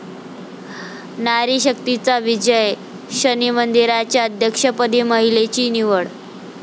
नारी शक्तीचा विजय, शनी मंदिराच्या अध्यक्षपदी महिलेची निवड